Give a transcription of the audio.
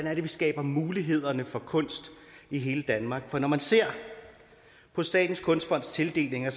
er vi skaber mulighederne for kunst i hele danmark for når man ser på statens kunstfonds tildelinger